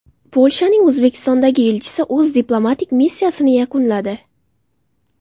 Polshaning O‘zbekistondagi elchisi o‘z diplomatik missiyasini yakunladi.